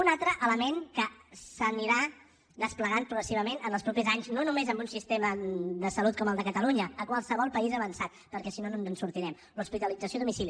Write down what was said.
un altre element que s’anirà desplegant progressivament en els propers anys no només en un sistema de salut com el de catalunya a qualsevol país avançat perquè si no no ens en sortirem l’hospitalització a domicili